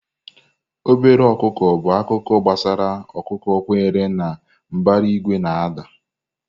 Obere ọkụkọ bụ akụkọ gbasara ọkụkọ kwenyere na mbara igwe na-ada.